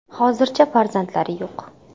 Hozircha farzandlari yo‘q.